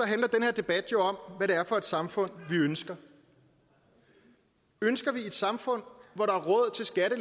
her debat jo om hvad det er for et samfund vi ønsker ønsker vi et samfund hvor der